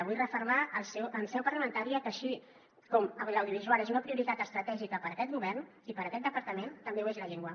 vull refermar en seu parlamentària que així com l’audiovisual és una prioritat estratègica per aquest govern i per aquest departament també ho és la llengua